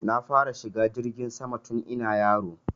Na fara shiga jirgin sama tun ina yaro